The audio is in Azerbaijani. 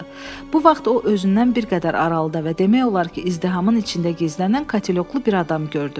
Bu vaxt o, özündən bir qədər aralıda və demək olar ki, izdihamın içində gizlənən katelyoklu bir adam gördü.